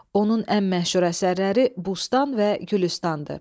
Onun ən məşhur əsərləri "Bustan" və "Gülüstan"dır.